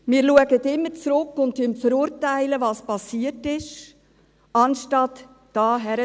Wir schauen immer zurück und verurteilen, was passiert ist, anstatt da hinzuschauen.